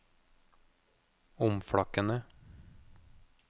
omflakkende